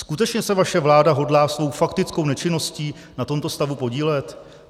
Skutečně se vaše vláda hodlá svou faktickou nečinností na tomto stavu podílet?